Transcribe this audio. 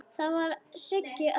Það var Siggi Öddu.